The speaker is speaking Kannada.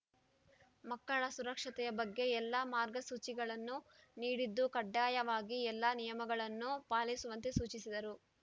ಮಕ್ಕಳ ಸುರಕ್ಷತೆಯ ಬಗ್ಗೆ ಎಲ್ಲ ಮಾರ್ಗಸೂಚಿಗಳನ್ನು ನೀಡಿದ್ದು ಕಡ್ಡಾಯವಾಗಿ ಎಲ್ಲ ನಿಯಮಗಳನ್ನು ಪಾಲಿಸುವಂತೆ ಸೂಚಿಸಿದರು